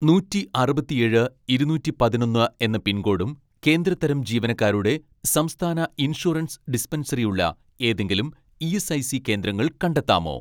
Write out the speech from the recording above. നൂറ്റി അറുപത്തിയേഴ്‌ ഇരുനൂറ്റി പതിനൊന്ന് എന്ന പിൻകോഡും കേന്ദ്ര തരം ജീവനക്കാരുടെ സംസ്ഥാന ഇൻഷുറൻസ് ഡിസ്പെൻസറി ഉള്ള ഏതെങ്കിലും ഇ.എസ്.ഐ.സി കേന്ദ്രങ്ങൾ കണ്ടെത്താമോ